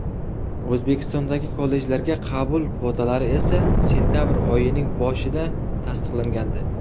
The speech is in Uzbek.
O‘zbekistondagi kollejlarga qabul kvotalari esa sentabr oyining boshida tasdiqlangandi .